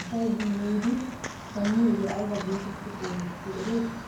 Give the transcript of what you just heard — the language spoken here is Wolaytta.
asay yi yiidi shammiyoogee ayba getettidi xeegettii eretii?